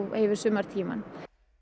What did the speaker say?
yfir sumartímann